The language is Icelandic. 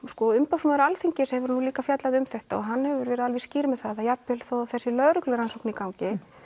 sko umboðsmaður Alþingis hefur nú líka fjallað um þetta og hann hefur verið alveg skýr með að jafn vel þó það sé lögreglurannsókn í gangi